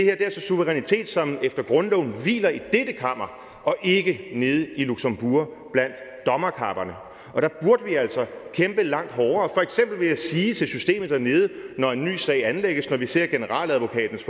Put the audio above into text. er altså suverænitet som efter grundloven hviler i dette kammer og ikke nede i luxembourg blandt dommerkapperne og der burde vi altså kæmpe langt hårdere for eksempel vil jeg sige til systemet dernede når en ny sag anlægges når vi ser generaladvokatens